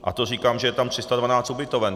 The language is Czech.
A to říkám, že je tam 312 ubytoven.